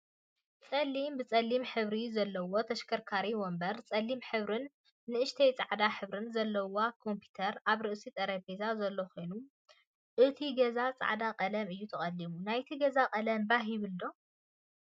ፀሊም ብፀሊም ሕብሪ ዘለዎ ተሽከርካሪን ወንበር ፀሊም ሕብርን ንእሽተይ ፃዕዳ ሕብርን ዘለዋ ኮምፒተር አብ ርእሲ ጠረጴዛ ዘሎ ኮይኑ እቱይ ገዛ ፃዕዳ ቀለም እዩ ተቀሊሙ። ናይቲ ገዛ ቀለም ባህ ይብል ዶ?